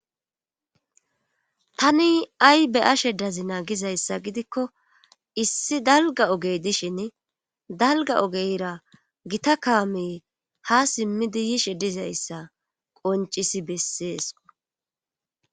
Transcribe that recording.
tani ay be'ashe dazina gizayssa gidikko issi dalga ogey dishin dalga ogeyra gita kaame ha simmidi yishe dizayssa qoncisi bessees